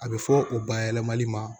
A bɛ fɔ u bayɛlɛmali ma